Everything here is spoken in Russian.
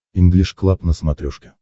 инглиш клаб на смотрешке